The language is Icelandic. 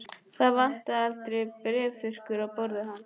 Það vantaði aldrei bréfþurrkurnar á borði hans.